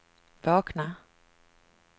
vakna